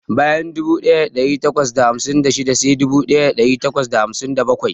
Bayan dubu daya dari takwas da hamsin da shida sai dubu daya dari takwas da hamsin da bakwai.